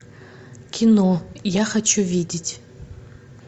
кино я хочу видеть